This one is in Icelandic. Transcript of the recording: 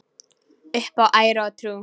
Upp á æru og trú.